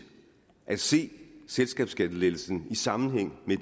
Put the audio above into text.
at se selskabsskattelettelsen i sammenhæng med